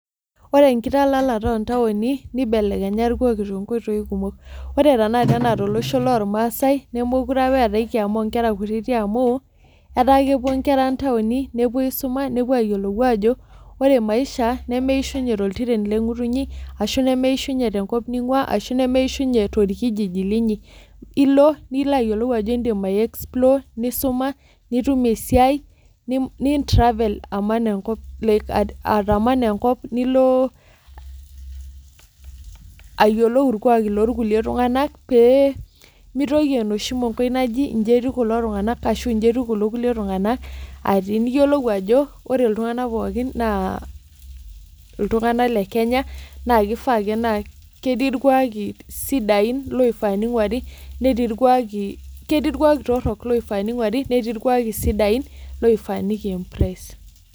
Ore enkitalalata oo ntaoni nibelenya irkuaki ore tanakata ena tolosho loo irmaasai nemekure etae enkiyama oo nkera kutiti amu etaa kepuo enkera ntaoni nepuo aisuma nepuo ayiolou Ajo ore maisha meyishunye tenkaji engutunyi ashu nemeyishunye tewueji ningua ashu nemeyishunye torkijiji linyia elo nilo ayiolou Ajo edim explore, nisuma nitum esiai nitravel aman enkop nilo ayiolou irkwaki loo kulie tung'ana pemitoki enoshi mongoi naaji eji eyieu kulo tung'ana eji etieu kulo kulie tung'ana niyiolou Ajo ore iltung'ana pookin naa iltung'ana lee Kenya naa kifaa ake naa ketii irkuaki torok oifaa minguarii netii irkuaki sidain loifaa nikimprees